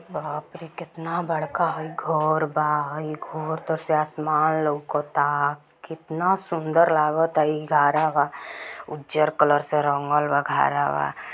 बापरे कितना बड़का हई घर बा एक से आसमान लउकता कितना सुन्दर लागता हई घरवा उजर कलर से रंगल बा घरवा।